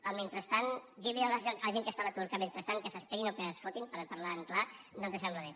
el mentrestant dir li a la gent que està a l’atur que mentrestant s’esperin o que es fotin parlant clar no ens sembla bé